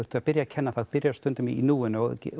að byrja að kenna byrjarðu stundum í núinu og